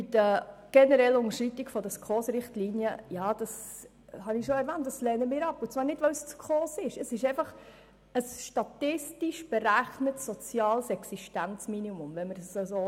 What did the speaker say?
Zu den generellen Unterschreitungen der SKOS-Richtlinien: Wie ich bereits erwähnt habe, lehnen wir diese ab, und zwar nicht, weil es die SKOS ist, sondern weil es sich hier um ein statistisch berechnetes, soziales Existenzminimum handelt.